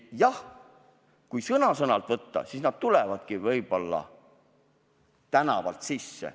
Jah, kui sõna-sõnalt võtta, siis nad tulevadki võib-olla tänavalt sisse.